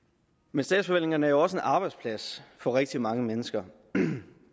men statsforvaltningerne er jo også en arbejdsplads for rigtig mange mennesker